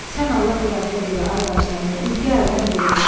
Sən Allah, biraz tez elə, ay daşdəmir, ürgə əldən gedir.